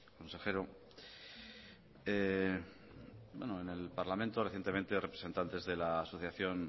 consejero en el parlamento recientemente representantes de la asociación